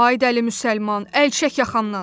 Ay dəli müsəlman, əl çək yaxamdan.